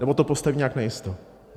Nebo to postaví nějak najisto.